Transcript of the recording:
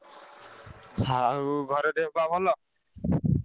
ଆଉ ଘରେ ଦେହ ପାହ ଭଲ?